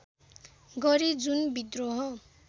गरे जुन विद्रोह